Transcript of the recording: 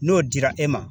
N'o dira e ma